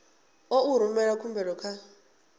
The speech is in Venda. ḓo u rumela khumbelo kha